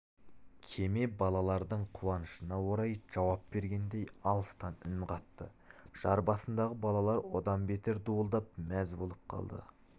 кеме балалардың қуанышына орай жауап бергендей алыстан үн қатты жар басындағы балалар одан бетер дуылдап мәз болып қалды